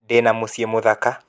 Ndĩ na mũciĩ mũthaka .